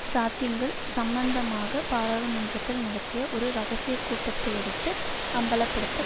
சாத்தியங்கள் சம்பந்தமாக பாராளுமன்றத்தில் நடத்திய ஒரு இரகசிய கூட்டத்தையடுத்து அம்பலப்படுத்து